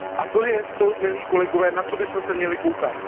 A to je to, milí kolegové, na co bychom se měli dívat.